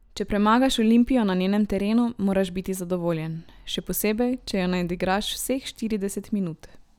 Če premagaš Olimpijo na njenem terenu, moraš biti zadovoljen, še posebej, če jo nadigraš vseh štirideset minut.